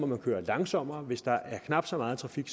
man køre langsommere og hvis der er knap så meget trafik